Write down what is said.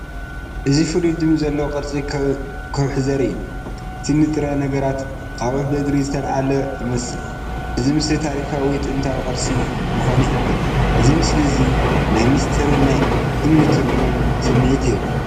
እዚ ፍሉይ ድምጺ ዘለዎ ቅርጺ ከውሒ ዘርኢ እዩ። እቲ ንጥረ ነገራት ኣኻውሕ ብእግሪ ዝተላዕለ ይመስል፣ እዚ ድማ ታሪኻዊ ወይ ጥንታዊ ቅርሲ ምዃኑ ይሕብር። እዚ ምስሊ እዚ ናይ ምስጢርን ናይ እምኒ ትርጉምን ስምዒት ይህብ።